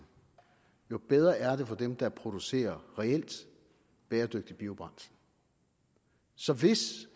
jo bedre er det for dem der producerer reelt bæredygtigt biobrændsel så hvis